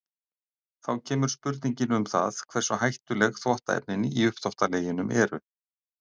Þá kemur spurningin um það hversu hættuleg þvottaefnin í uppþvottaleginum eru.